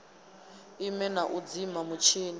ime na u dzima mutshini